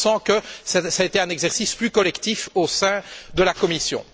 On sent que cela a été un exercice plus collectif au sein de la Commission.